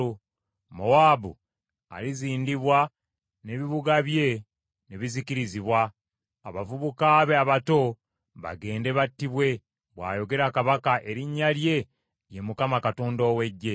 Mowaabu alizindibwa n’ebibuga bye ne bizikirizibwa; abavubuka be abato bagende battibwe,” bw’ayogera Kabaka, erinnya lye ye Mukama Katonda ow’Eggye.